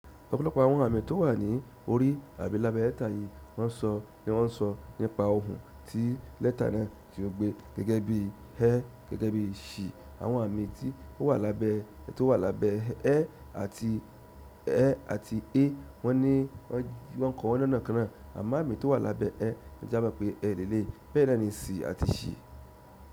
Ọ̀pọ̀lọpọ̀ àwọn àmì tó wà ní orí àbí lábẹ́ lẹ́tà yìí ni wọ́n sọ nípa ohùn tí lẹ́tà náà tí ó gbé gẹ́gẹ́ bí "l" gẹ́gẹ́ bí "sh". Àwọn àmì tí ó wà lábẹ́" àti "a" wọ́n ni wọ́n kọ́ọ́ lọ́nà kan náà, àmọ́ àmì tó wà lábẹ́ "e" ní a mọ̀ pé "e" lé lé, bẹ́ẹ̀ náà ni "c" àti".